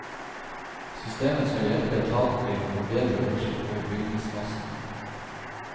Systemet skal hjelpe etaten til å få bedre oversikt over bygningsmassene.